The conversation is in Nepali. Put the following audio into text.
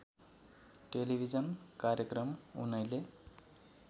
टेलिभिजन कार्यक्रम उनैले